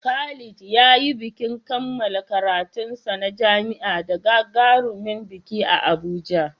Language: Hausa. Khalid ya yi bikin kammala karatunsa na jami'a da gagarumin biki a Abuja.